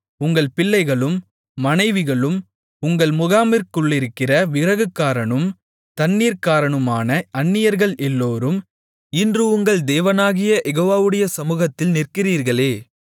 உங்கள் பிள்ளைகளும் மனைவிகளும் உங்கள் முகாமிற்குள்ளிருக்கிற விறகுக்காரனும் தண்ணீர்க்காரனுமான அந்நியர்கள் எல்லோரும் இன்று உங்கள் தேவனாகிய யெகோவாவுடைய சமுகத்தில் நிற்கிறீர்களே